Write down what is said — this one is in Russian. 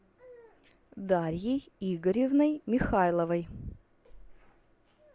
дарьей игоревной михайловой